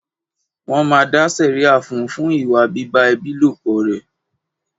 Wọn máa dá sẹ̀ríà fún un fún ìwà bíbá ẹbí lòpọ̀ rẹ̀.